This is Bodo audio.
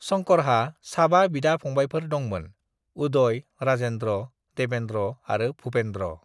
"शंकरहा साबा बिदा-फंबायफोर दंमोन, उदय, राजेन्द्र, देवेन्द्र आरो भूपेन्द्र।"